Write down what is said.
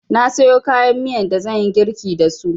Na siyo kayan miyan da zanyi girlki dasu